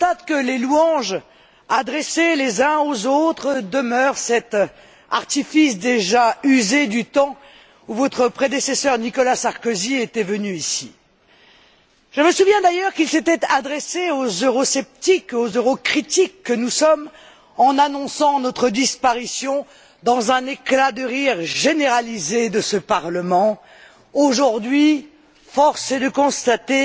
Je constate que les louanges adressées les uns aux autres demeurent cet artifice déjà usé du temps où votre prédécesseur était venu ici. Je me souviens d'ailleurs qu'il s'était adressé aux eurosceptiques, aux eurocritiques que nous sommes, en annonçant notre disparition, dans un éclat de rire généralisé de ce Parlement. Aujourd'hui, force est de constater